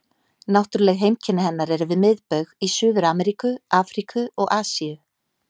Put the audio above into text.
Náttúruleg heimkynni hennar eru við miðbaug í Suður-Ameríku, Afríku og Asíu.